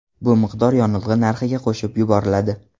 Bu miqdor yonilg‘i narxiga qo‘shib yuboriladi.